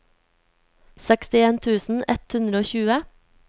sekstien tusen ett hundre og tjue